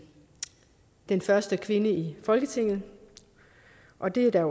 den første kvinde i folketinget og det er der